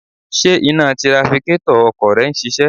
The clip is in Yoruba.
Ṣé iná tirafikétọ̀ ọkọ̀ rẹ ń ṣiṣẹ́?